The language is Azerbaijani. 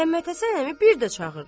Məhəmməd Həsən əmi bir də çağırdı.